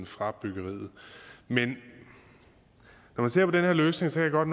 fra byggeriet men når man ser på den her løsning kan jeg godt